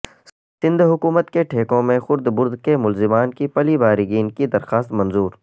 سندھ حکومت کے ٹھیکوں میں خرد برد کے ملزمان کی پلی بارگین کی درخواست منظور